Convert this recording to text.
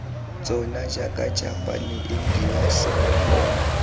tsona jaaka japane india singapore